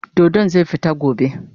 Dodon zai fita gobe.